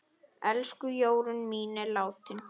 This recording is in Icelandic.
Elsku Jórunn mín er látin.